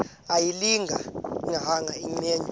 ayilinga gaahanga imenywe